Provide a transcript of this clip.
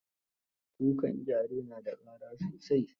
Kukan gyare na da ƙara sosai.